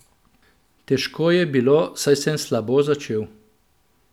Težko je bilo, saj sem slabo začel.